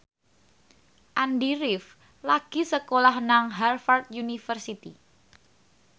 Andy rif lagi sekolah nang Harvard university